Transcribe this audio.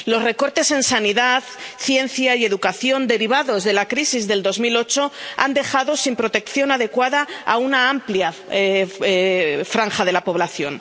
Los recortes en sanidad, ciencia y educación derivados de la crisis del 2008 han dejado sin protección adecuada a una amplia franja de la población.